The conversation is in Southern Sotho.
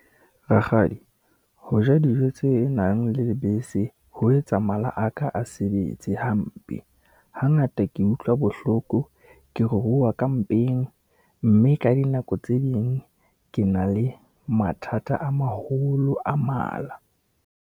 Rakgadi, ho ja dijo tse nang le lebese, ho etsa mala a ka a sebetse hampe. Hangata ke utlwa bohloko, ke ruruha ka mpeng, mme ka dinako tse ding ke na le mathata a maholo a mala.